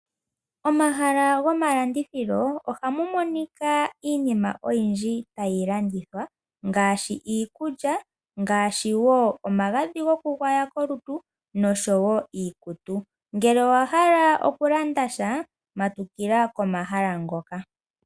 Omahala gonalandithilo ohamu monika iinima oyindji tayi landitwa ngaashi iikulya ngaashi woo omagadhi gokugwaya kolutu nosho wo iikutu, ngele owa hala oku landa sha matukila komahala ngoka